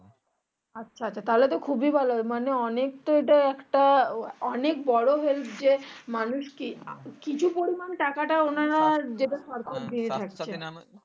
আচ্ছা তো তাহলে তো খুবই ভালো হয় মানে এটা একটা অনেক বড়ো help যে মানুষ কি কিছু পরিমান টাকাটা ওনারা